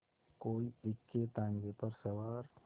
कोई इक्केताँगे पर सवार